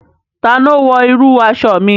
Ta ni ó wọ irú aṣọ mi?